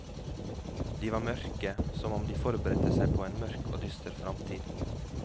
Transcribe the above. De var mørke, som om de forberedte seg på en mørk og dyster framtid.